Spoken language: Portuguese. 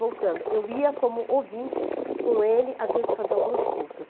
Voltando, eu ia como ouvinte com ele, às vezes, fazer alguns cursos.